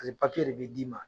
A ni de bi d'i ma.